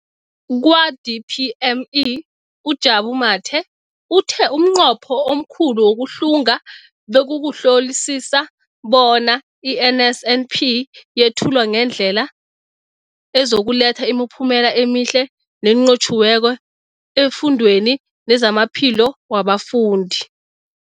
Kwa-DPME, uJabu Mathe, uthe umnqopho omkhulu wokuhlunga bekukuhlolisisa bona i-NSNP yethulwa ngendlela ezokuletha imiphumela emihle nenqotjhiweko efundweni nezamaphilo wabafundi.